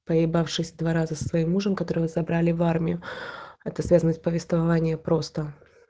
поебавшись два раза со своим мужем которого забрали в армию это связано с повествования просто